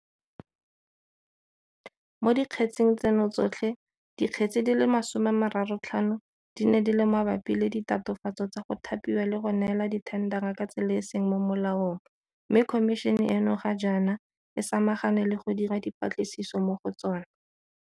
Mo dikgetseng tseno tsotlhe, di kgetse di le 35 di ne di le mabapi le ditatofatso tsa go thapiwa le go neelwa dithendara ka tsela e e seng mo molaong mme Khomišene eno ga jaana e sama gane le go dira dipatlisiso mo go tsona.